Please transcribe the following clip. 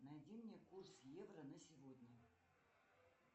найди мне курс евро на сегодня